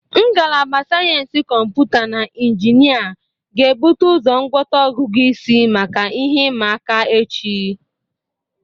Ngalaba Sayensị Kọmputa na Injinia ga-ebute ụzọ ngwọta ogugu isi maka ihe ịma aka echi.